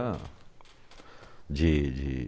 de de